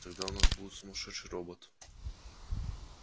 тогда у нас будет сумасшедший робот